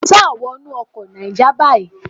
Sá wọnú ọkọ Náíjà báyìí.